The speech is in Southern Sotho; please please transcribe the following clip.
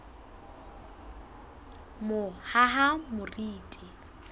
mohahamoriti